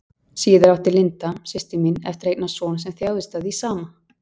Síðar átti Linda, systir mín, eftir að eignast son sem þjáðist af því sama.